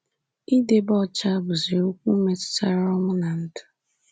Idebe ọcha bụzi okwu metụtara ọnwụ na ndụ.